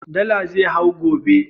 Dala zai hau gobe